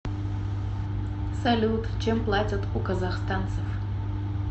салют чем платят у казахстанцев